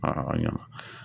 ɲana